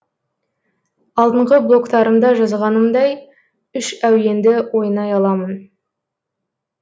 алдыңғы блогтарымда жазғанымдай үш әуенді ойнай аламын